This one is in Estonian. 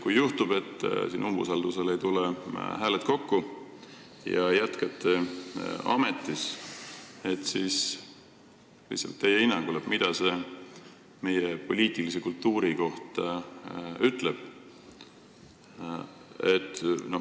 Kui juhtub, et umbusaldamiseks ei tule hääled kokku ja sa jätkad ametis, siis mida see sinu hinnangul meie poliitilise kultuuri kohta ütleb?